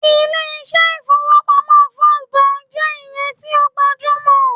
ilé iṣẹ ifowopamọ first Bank je iyen ti o gbajumo